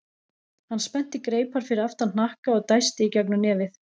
Hann spennti greipar fyrir aftan hnakka og dæsti í gegnum nefið.